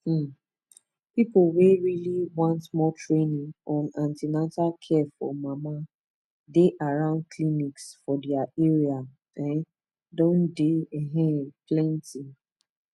um people wey really want more training on an ten atal care for mama dey around clinics for their area um don dey um plenty